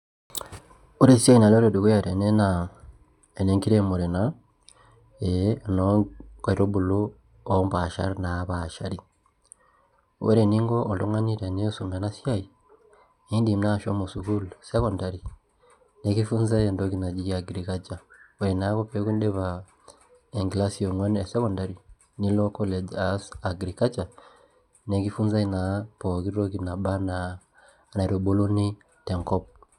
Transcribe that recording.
Ore esiai naloito dukuya tene naa, enenkiremore naa, eh eno nkaitubulu opmpaashat napaashari. Ore eninko oltung'ani tenisum enasiai, idim naashomo sukuul secondary, nkifunzai entoki naji agriculture. Ore nake peku idipa enkilasi e ong'uan e secondary, nilo college aas agriculture ,nkifunzai naa pooki toki naba enaa enaitubuluni tenkop.